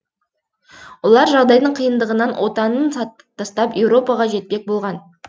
олар жағдайдың қиындығынан отанын тастап еуропаға жетпек болған